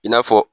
I n'a fɔ